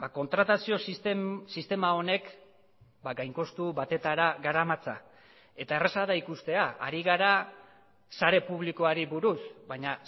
kontratazio sistema honek gain kostu batetara garamatza eta erraza da ikustea ari gara sare publikoari buruz baina